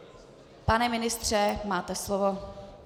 Pane ministře, máte slovo.